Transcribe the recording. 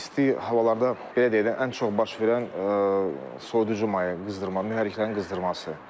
İsti havalarda belə deyək də, ən çox baş verən soyuducu maye qızdırma, mühərriklərin qızdırması.